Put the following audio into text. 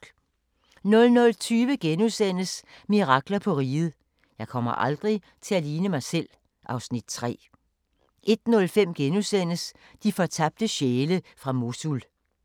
00:20: Mirakler på Riget – Jeg kommer aldrig til at ligne mig selv (Afs. 3)* 01:05: De fortabte sjæle fra Mosul *